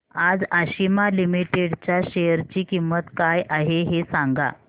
आज आशिमा लिमिटेड च्या शेअर ची किंमत काय आहे हे सांगा